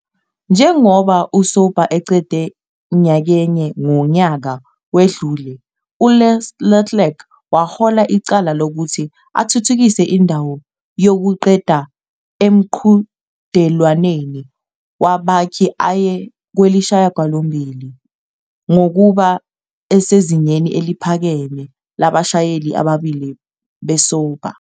Njengoba uSauber eqede nyakenye ngonyaka owedlule, uLeclerc wahola icala lokuthi athuthukise indawo yokuqeda emqhudelwaneni wabakhi aye kwelesishiyagalombili, ngokuba sezingeni eliphakeme labashayeli ababili be-Sauber.